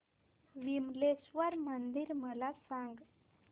विमलेश्वर मंदिर मला सांग